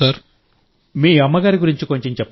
మీ అమ్మ గురించి కొంచెం చెప్పండి